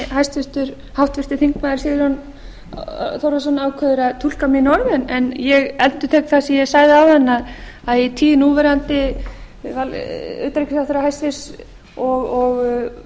gert þetta með þeim hætti að hafa þetta sem gegnsæjast og á sem faglegustum grunni ég tel að það séu einmitt þau vinnubrögð sem séu mikilvæg og menn eigi að viðhafa